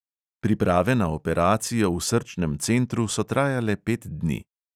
Priprave na operacijo v srčnem centru so trajale pet dni.